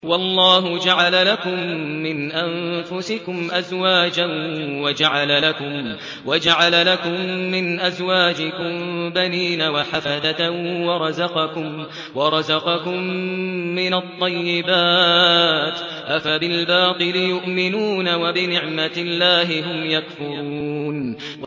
وَاللَّهُ جَعَلَ لَكُم مِّنْ أَنفُسِكُمْ أَزْوَاجًا وَجَعَلَ لَكُم مِّنْ أَزْوَاجِكُم بَنِينَ وَحَفَدَةً وَرَزَقَكُم مِّنَ الطَّيِّبَاتِ ۚ أَفَبِالْبَاطِلِ يُؤْمِنُونَ وَبِنِعْمَتِ اللَّهِ هُمْ يَكْفُرُونَ